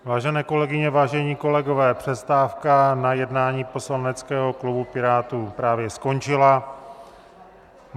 Vážené kolegyně, vážení kolegové, přestávka na jednání poslaneckého klubu Pirátů právě skončila.